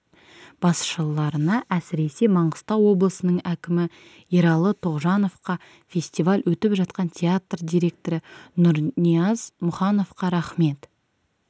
басшыларына әсіресе маңғыстау облысының әкімі ералы тоғжановқа фестиваль өтіп жатқан театр директоры нұрнияз мұхановқа рахмет